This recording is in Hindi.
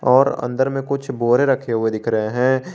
और अंदर में कुछ बोरे रखे हुए दिख रहे हैं।